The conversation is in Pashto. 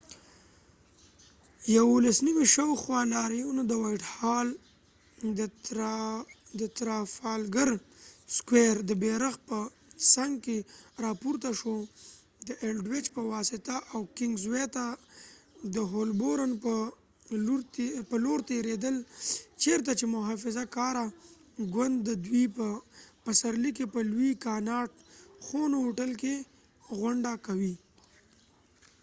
د ۲۹: ۱۱ شاوخوا، لاریون د وائټ هال، د ترافالګر سکوئر، د بیرغ په څنګ کې راپورته شو، د الډویچ په واسطه او کنگز وے ته د هولبورن په لور تیریدل چېرته چې محافظه کاره ګوند د دوی په پسرلي کې په لوی کاناټ خونو هوټل کې غونډه کوي